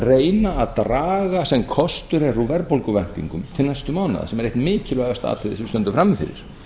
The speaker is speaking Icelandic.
reyna að draga sem kostur er úr verðbólguvæntingum til næstu mánaða sem er eitt mikilvægasta atriðið sem við stöndum frammi fyrir